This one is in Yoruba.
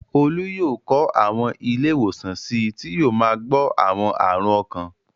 Olú yóò kọ́ àwọn ilé-ìwòsàn sí i tí yóò máa gbọ̀ àwọn àrùn ọkàn.